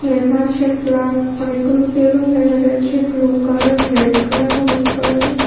লেখা আছে প্লাস অনেকগুলো বেলুন দেখা যাচ্ছে ব্লু কালার রেড কালার হলুদ কালারে ।